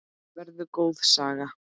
Verður góð saga.